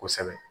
Kosɛbɛ